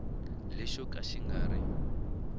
lexo ka xi nga ri